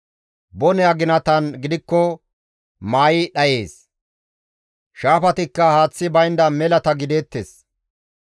Bone aginatan gidikko maayi dhayees; shaafatikka haaththi baynda melata gideettes.